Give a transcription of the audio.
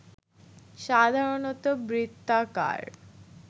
সাধারণত বৃত্তাকার